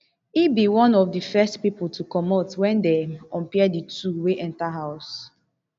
e be one of di first pipo to comot wen dem unpair di two wey enta house